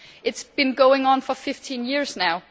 This has been going on for 15 years now.